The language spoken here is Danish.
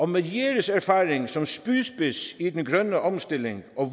med jeres erfaring som spydspids i den grønne omstilling og